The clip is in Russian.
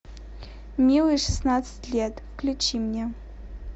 милые шестнадцать лет включи мне